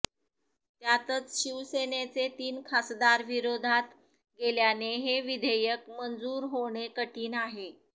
त्यातच शिवसेनेचे तीन खासदार विरोधात गेल्याने हे विधेयक मंजूर होणे कठीण आहे